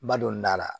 Ba don n'a la